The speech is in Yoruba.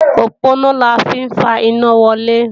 Òponá la fi ń fa iná wọlé